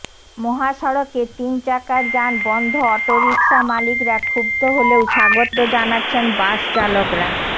মহাসড়কে তিন চাকার যান বন্ধ অটোরিকশা মালিকরা ক্ষুব্ধ হলেও স্বাগত জানাচ্ছেন বাস চালকরা